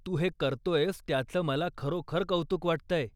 तू हे करतोयस त्याचं मला खरोखर कौतुक वाटतंय.